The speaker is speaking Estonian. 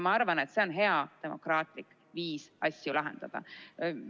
Ma arvan, et see on hea demokraatlik viis asju lahendada.